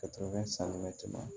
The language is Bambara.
Ka tɛmɛ sanni bɛ tɛmɛ